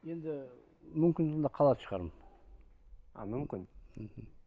енді мүмкін сонда қалатын шығармын а мүмкін мхм